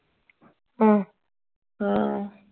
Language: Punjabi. ਹਮ ਹਾਂ